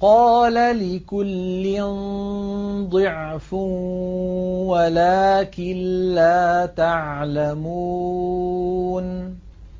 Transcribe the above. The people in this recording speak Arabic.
قَالَ لِكُلٍّ ضِعْفٌ وَلَٰكِن لَّا تَعْلَمُونَ